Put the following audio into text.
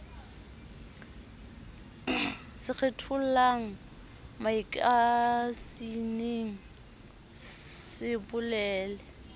se kgethollang makasineng se bolele